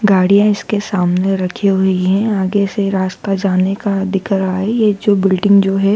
गाड़िया इसके सामने रखी हुई है आगे से रास्ता जाने का दिख रहा है ये जो बिल्डिंग जो है।